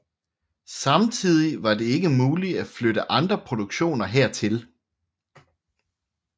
Samtidig var det ikke muligt at flytte andre produktioner hertil